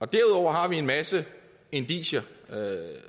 derudover har vi en masse indicier